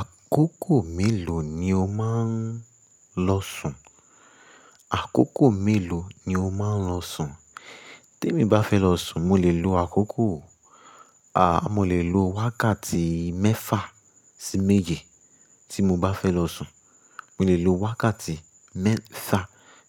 Àkókò mélòó ni o máa ń lọ sùn? Àkókò mélòó ni o máa ń lọ sùn? Tí èmi bá fẹ́ lọ sùn, mo lè lo àkókò, a, mo lè lo wákàtí mẹ́fà sí méje tí mo bá fẹ́ lọ sùn. Mo lè lo wákàtí mẹ́fà